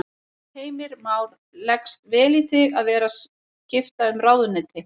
Heimir Már: Leggst vel í þig að vera skipta um ráðuneyti?